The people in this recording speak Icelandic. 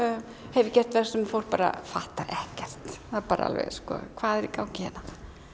hef ég gert verk sem fólk bara fattar ekkert það bara alveg sko hvað er í gangi hérna